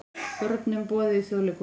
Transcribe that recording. Börnum boðið í Þjóðleikhúsið